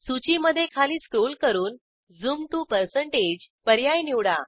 सूचीमधे खाली स्क्रॉल करून झूम to पर्याय निवडा